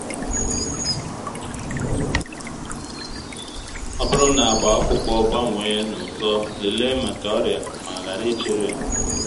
ọ bụrụ na agba akwụkwọ gbanwee n’ụsọ lelee maka ọrịa ma hara ichere